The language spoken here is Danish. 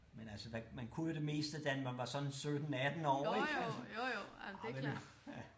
Men altså hvad man kunne jo det meste da man var sådan 17 18 år ik ah men ja